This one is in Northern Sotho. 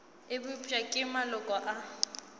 e bopša ke maloko a